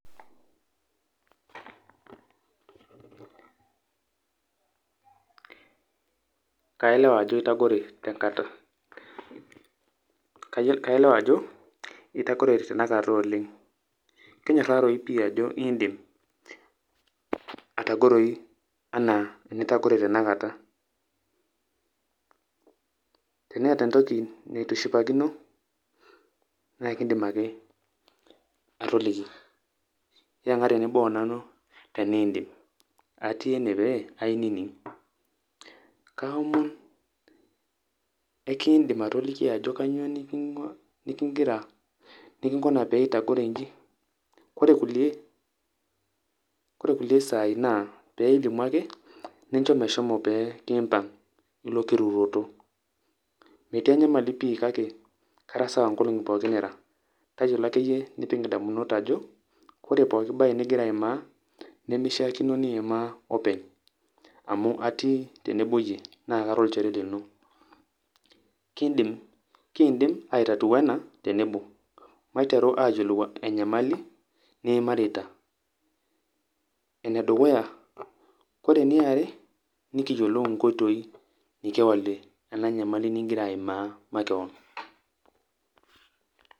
kailewa ajo itagore tenkata, kailewa ajo itagore tenakata oleng', kenyorarou pii ajo indim atagoroyu enaa enitagore tenakata. Teneeta entoki nitu ishipakino nae kindim ake atoliki yeng'a tenebo o nanu teniindim atii ene pee ainining'. kaomon kekiindim atoliki ajo kanyo neking'ira neking'una pee itagore nji. Kore kulie kore kulie saai naa pee ilimu ake ninjo meshomo pee kiimpang' ilo kirutoto, metii enyamali pii kake Kara sawa nkolong'i pookin nira. Tayiolo akeyie nipik indamunot ajo, kore pooki baye ning'ira aimaa nemishaakino niimaa openy amu atii tenebo iyie naa kara olchore lino kindim ai tatua ena tenebo maiteru ayolou enyamali niimarita ene dukuya. Ore eniare nekiyolou nkoitoi nekiolie ena nyamali ning'ira aimaa makeon.